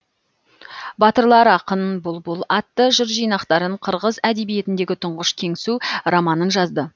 батырлар ақын бұлбұл атты жыр жинақтарын қырғыз әдебиетіндегі тұңғыш кеңсу романын жазды